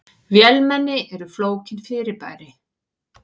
Vélmenni eru flókin fyrirbæri.